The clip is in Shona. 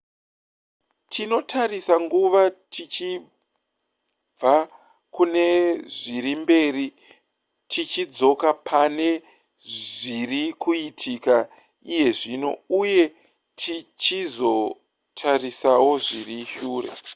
tinotarisa nguva tichibva kune zviri mberi tichidzoka pane zviri kuitika iye zvino uye tichizotarisawo zviri shure